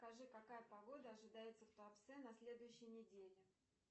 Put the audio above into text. скажи какая погода ожидается в туапсе на следующей неделе